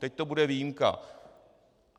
teď to bude výjimka.